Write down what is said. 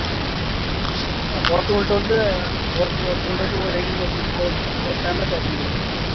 ஒருத்தவுங்கள்ட்ட வந்து ஒருத் ஒருத்தவுங்கள்ட்ட வந்து ஒரு ID ல இருந்து ஒருத்தவுங்கள்ட வந்து ஒரு time தான் பேச முடியும்